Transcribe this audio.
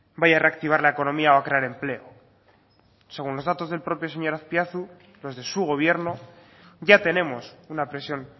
vaya a reactivar la economía o a crear empleo según los datos del propio señor azpiazu los de su gobierno ya tenemos una presión